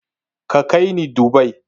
Ka kai ni Dubai!